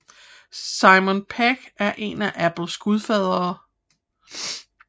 Simon Pegg er en af Apples gudfadere